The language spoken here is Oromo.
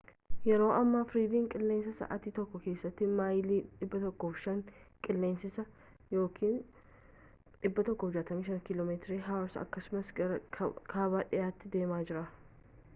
yeroo ammaa fred qillensa sa’aati tokko kessatti mayilii 105 qillensa’aa 165km/hakkasumas gara kaaba dhiiyaatti deemaa jira